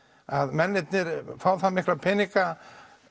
mennirnir fá það mikla peninga